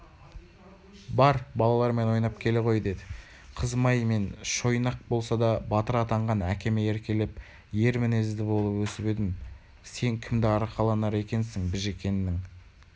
бар балалармен ойнап келе ғой деді қызым-ай мен шойнақ болса да батыр атанған әкеме еркелеп өр мінезді болып өсіп едім сен кімді арқаланар екенсің біжікеннің